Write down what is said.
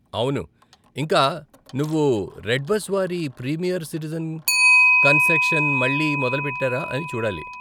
అవును, ఇంకా నువ్వు రెడ్బస్ వారి ప్రీమియర్ సిటిజెన్ కన్సెక్సన్ మళ్ళీ మొదలుపెట్టారా అని చూడాలి.